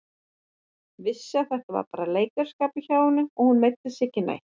Vissi að þetta var bara leikaraskapur hjá henni, hún meiddi sig ekki neitt.